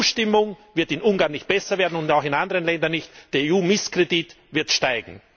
Die EU Stimmung wird in Ungarn nicht besser werden und auch in anderen Ländern nicht, der EU Misskredit wird steigen!